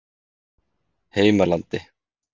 Heimalandi